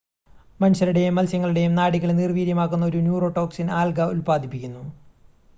മനുഷ്യരുടെയും മത്സ്യങ്ങളുടെയും നാഡികളെ നിർവ്വീര്യമാക്കുന്ന ഒരു ന്യൂറോടോക്സിൻ ആൽഗ ഉൽപാദിപ്പിക്കുന്നു